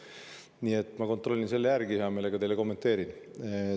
Nii et ma kontrollin selle hea meelega järele ja siis kommenteerin.